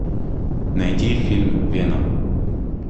найди фильм веном